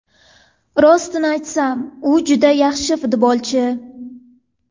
Rostini aytsam, u juda yaxshi futbolchi!